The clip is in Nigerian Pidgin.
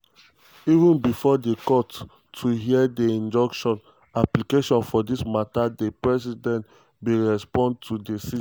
even bifor di court to hear di injunction application for dis mata di president bin respond to di cj.